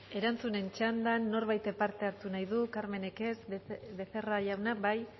erantzunen txandan norbaitek parte hartu nahi du carmenek ez becerra jauna bai